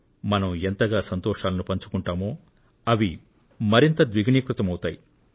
మనం ఎంతగా సంతోషాలను పంచుకుంటామో అవి మరింతగా ద్విగుణీకృతం అవుతాయి